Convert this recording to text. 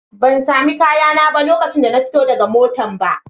Ban sami kayana ba lokacin da na fito daga matan ba.